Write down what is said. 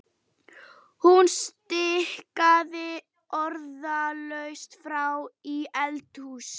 Hún stikaði orðalaust fram í eldhús.